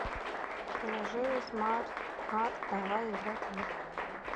приложение смарт арт давай играть в